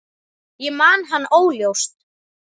Ég man hann óljóst.